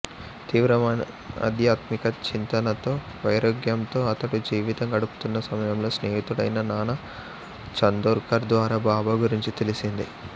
తీవ్రమైన ఆధ్యాత్మిక చింతనతో వైరాగ్యంతో అతడు జీవితం గడుపుతున్న సమయంలో స్నేహితుడైన నానా చందోర్కర్ ద్వారా బాబా గురించి తెలిసింది